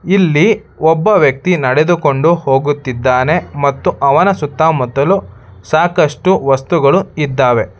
ಇಲ್ಲಿ ಒಬ್ಬ ವ್ಯಕ್ತಿ ನಡೆದುಕೊಂಡು ಹೋಗುತ್ತಿದ್ದಾನೆ ಮತ್ತು ಅವನ ಸುತ್ತ ಮುತ್ತಲು ಸಾಕಷ್ಟು ವಸ್ತುಗಳು ಇದ್ದಾವೆ.